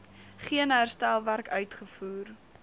geen herstelwerk uitgevoer